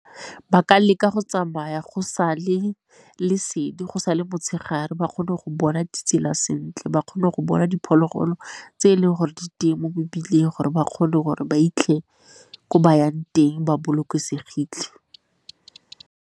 Ba ka leka go tsamaya go sa le lesedi, go sa le motshegare ba kgone go bona ditsela sentle, ba kgone go bona diphologolo tse e leng gore di teng mo mebileng gore ba kgone gore ba 'itlhe ko ba yang teng ba bolokesegile.